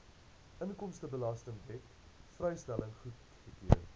inkomstebelastingwet vrystelling goedgekeur